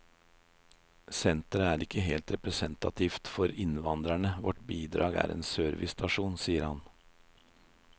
Senteret er heller ikke representant for innvandrerne, vårt bidrag er en servicestasjon, sier han.